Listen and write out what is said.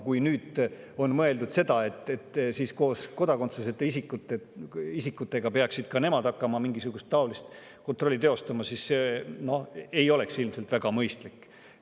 Kui on mõeldud seda, et nii nemad kui ka kodakondsuseta isikud peaksid hakkama mingisugust taolist kontrolli, siis see ei oleks ilmselt väga mõistlik.